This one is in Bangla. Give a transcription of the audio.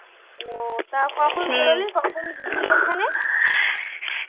ও তা কখন কখন গেছিলি ওখানে?